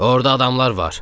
Orda adamlar var.